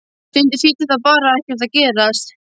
Stundum þýddi það bara Ekkert að gerast.